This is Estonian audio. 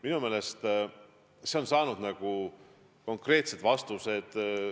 Minu meelest on see saanud konkreetsed vastused.